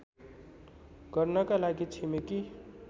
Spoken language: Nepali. गर्नका लागि छिमेकी